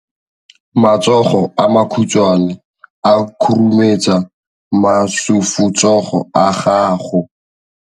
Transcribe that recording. Matsogo a makhutshwane a khurumetsa masufutsogo a gago.